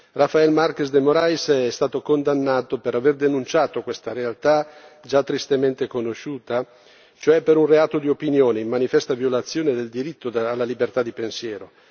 Rafael Marques de Morais è stato condannato per aver denunciato questa realtà, già tristemente conosciuta, cioè per un reato di opinione, in manifesta violazione del diritto alla libertà di pensiero.